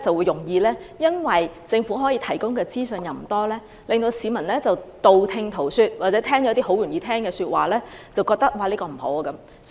由於政府提供的資訊不多，市民容易道聽塗說，接收了較易理解的資訊，認為"明日大嶼"不好。